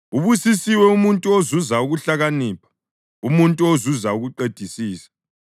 Ubusisiwe umuntu ozuza ukuhlakanipha, umuntu ozuza ukuqedisisa,